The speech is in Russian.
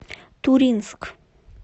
туринск